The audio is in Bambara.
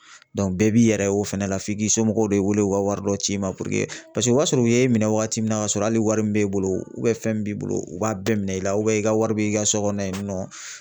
bɛɛ b'i yɛrɛ ye o fɛnɛ la f'i k'i somɔgɔw de wele, u ka wari dɔ ci i ma paseke o b'a sɔrɔ u ye minɛ waati min na k'a sɔrɔ hali wari min b'e bolo fɛn min b'i bolo u b'a bɛɛ minɛ i la i ka wari bi i ka so kɔnɔ yen nɔ